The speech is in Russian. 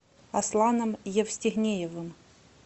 асланом евстигнеевым